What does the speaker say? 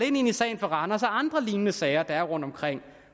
ind i sagen fra randers og andre lignende sager der er rundtomkring